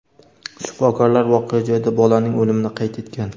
Shifokorlar voqea joyida bolaning o‘limini qayd etgan.